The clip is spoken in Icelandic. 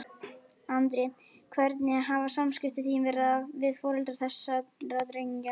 Andri: Hvernig hafa samskipti þín verið við foreldra þessara drengja?